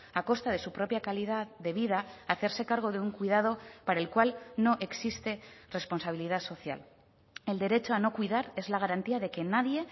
a costa de su propia calidad de vida a hacerse cargo de un cuidado para el cual no existe responsabilidad social el derecho a no cuidar es la garantía de que nadie